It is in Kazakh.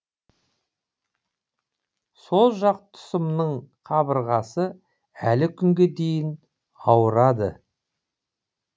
сол жақ тұсымның қабырғасы әлі күнге дейін ауырады